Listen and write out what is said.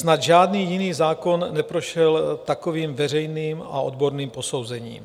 Snad žádný jiný zákon neprošel takovým veřejným a odborným posouzením.